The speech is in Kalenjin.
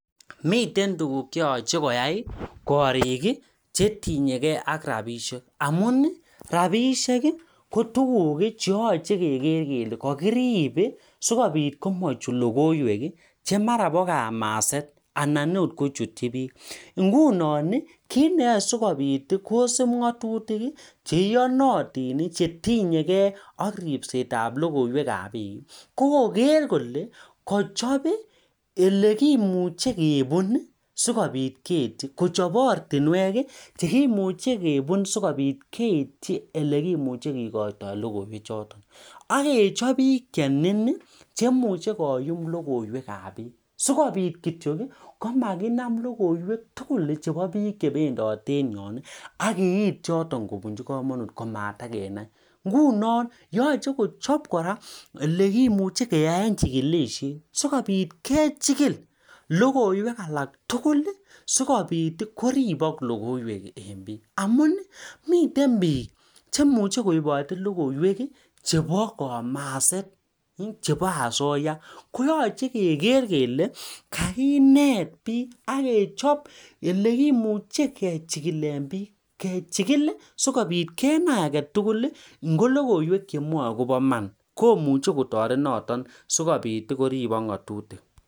Mitei tukug cheyachee keai. kit neae kosub ngatutik ako logoywek ab bik kokoker kolee kachop ortinwek chekibunee sikikotyo logoywek chotok